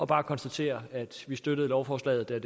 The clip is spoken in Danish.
bare konstatere at vi støttede lovforslaget da